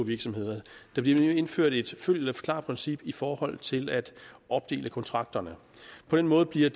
virksomheder der bliver nemlig indført et følg eller forklarprincip i forhold til at opdele kontrakterne på den måde bliver